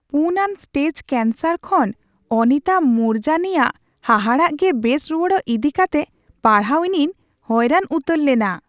᱔ ᱟᱱ stage cancer ᱠᱷᱚᱱ ᱚᱱᱤᱛᱟ ᱢᱩᱨᱡᱟᱱᱤᱭᱟᱜ ᱦᱟᱦᱟᱲᱟᱜ ᱜᱮ ᱵᱮᱥ ᱨᱩᱣᱟᱹᱲᱚᱜ ᱤᱫᱤ ᱠᱟᱛᱮᱜ ᱯᱟᱲᱦᱟᱣ ᱤᱧᱤᱧ ᱦᱚᱭᱨᱟᱱ ᱩᱛᱟᱹᱨ ᱞᱮᱱᱟ ᱾